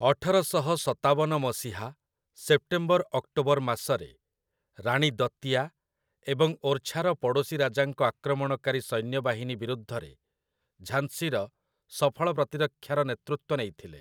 ଅଠରଶହ ସତାବନ ମସିହା ସେପ୍ଟେମ୍ବର-ଅକ୍ଟୋବର ମାସରେ, ରାଣୀ ଦତିଆ ଏବଂ ଓର୍‌ଛାର ପଡ଼ୋଶୀ ରାଜାଙ୍କ ଆକ୍ରମଣକାରୀ ସୈନ୍ୟବାହିନୀ ବିରୁଦ୍ଧରେ ଝାନ୍‌ସୀର ସଫଳ ପ୍ରତିରକ୍ଷାର ନେତୃତ୍ୱ ନେଇଥିଲେ ।